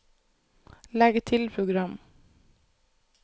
legg til program